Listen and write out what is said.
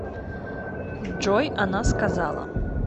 джой она сказала